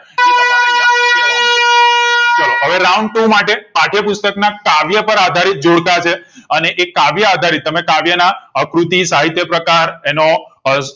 એ તમારે અહીંયા કેવાનું છે ચાલો હવે round બે માટે પાઠય પુસ્તક ના કાવ્ય પર આધારિત જોડકા છે અને કાવ્ય આધારીત તમે કાવ્ય ના અ કૃતિ સહિતયપ્રકાર એનો